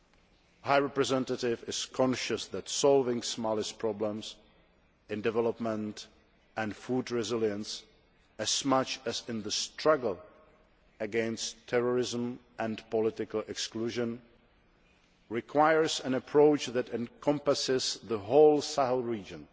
The High Representative is conscious that solving Mali's problems, in development and food resilience as much as in the struggle against terrorism and political exclusion, requires an approach that encompasses the whole Sahel region.